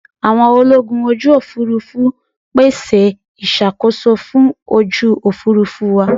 Àwọn ológun ojú Òfurufú pèsè ìṣàkóso fún ojú Òfurufú wa.